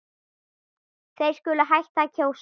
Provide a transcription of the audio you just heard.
Þeir skuli hætta að kjósa.